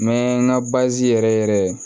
N mɛ n ga yɛrɛ yɛrɛ